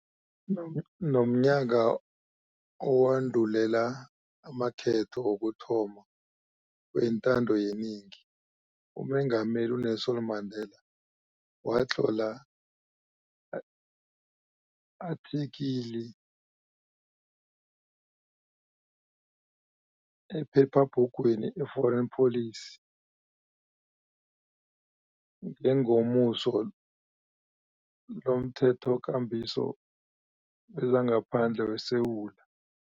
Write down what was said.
Ngom ngomnyaka owandulela amakhetho wokuthoma wentando yenengi, uMengameli u-Nelson Mandela watlola i-athikili ephephabhugwini i-Foreign Policy ngengomuso lomThethokambiso wezangaPhandle weSewula